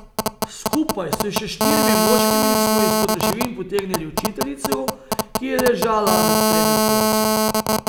Skupaj s še štirimi moškimi smo izpod ruševin potegnili učiteljico, ki je ležala nad tremi otroci.